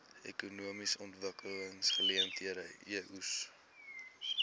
ekonomiese ontwikkelingseenhede eoes